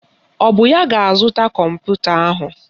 Ọ bụ ya ga-azụta kọmputa ahụ?